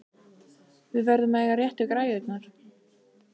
Við verðum að eiga réttu græjurnar!